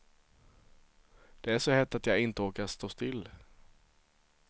Det är så hett att jag inte orkar stå still.